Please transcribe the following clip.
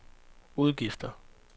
udgifter